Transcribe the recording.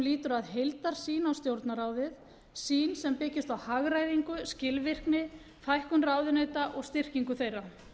lýtur að heildarsýn á stjórnarráðið sýn sem byggist á hagræðingu skilvirkni fækkun ráðuneyta og styrkingu þeirra